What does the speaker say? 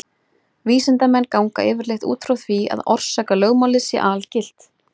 Vísindamenn ganga yfirleitt út frá því að orsakalögmálið sé algilt.